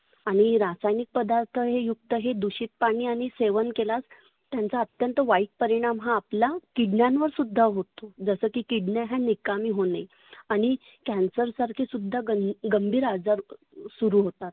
आणि रासायनीक पदार्थ हे युक्त हे दुषित पाणि आणि सेवन केलात त्यांचा अत्यंत वाईट परिनाम हे आपला किडण्यांवर सुद्धा होतो. जसं की किडण्या हे निकामी होने. आणि cancer सारखे सुद्धा गं गंभीर आजार सुरु होतात.